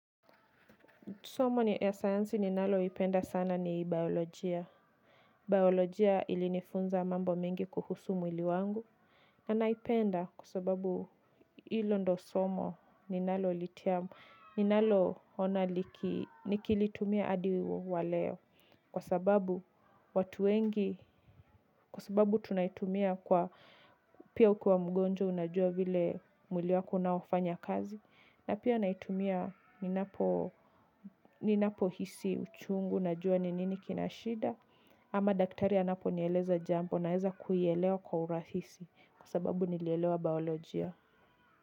Somo ya sayansi ninaloipenda sana ni biolojia. Biolojia ilinifunza mambo mingi kuhusu mwili wangu, ana ipenda kwa sababu ilo ndo somo ninalo litiamu. Ninalo ona liki nikilitumia adi waleo. Kwa sababu watu wengi, kwa sababu tunaitumia kwa pia ukua mgonjwa unajua vile, mwili wako unaofanya kazi. Na pia naitumia ninapohisi uchungu na jua ninini kinashida. Ama daktari anapo nieleza jambo naeza kuielewa kwa urahisi, kwa sababu nilelewa baolojia.